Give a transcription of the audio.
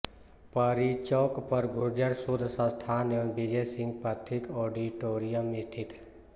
परीचौक पर गुर्जर शोध संस्थान व विजय सिंह पथिक ऑडिटोरियम स्थित है